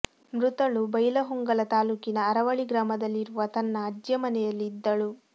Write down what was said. ಮೃತಳು ಬೈಲಹೊಂಗಲ ತಾಲೂಕಿನ ಅರವಳ್ಳಿ ಗ್ರಾಮದಲ್ಲಿರುವ ತನ್ನ ಅಜ್ಜಿಯ ಮನೆಯಲ್ಲಿ ಇದ್ದಳು